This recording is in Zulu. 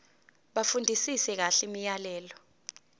bafundisise kahle imiyalelo